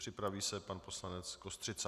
Připraví se pan poslanec Kostřica.